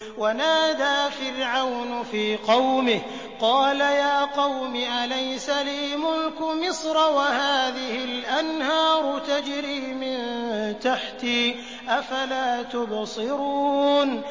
وَنَادَىٰ فِرْعَوْنُ فِي قَوْمِهِ قَالَ يَا قَوْمِ أَلَيْسَ لِي مُلْكُ مِصْرَ وَهَٰذِهِ الْأَنْهَارُ تَجْرِي مِن تَحْتِي ۖ أَفَلَا تُبْصِرُونَ